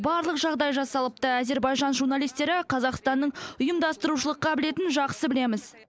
барлық жағдай жасалыпты әзербайжан журналистері қазақстанның ұйымдастырушылық қабілетін жақсы білеміз